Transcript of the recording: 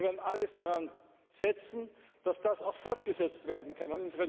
Wir werden alles daran setzen, dass das auch fortgesetzt werden kann.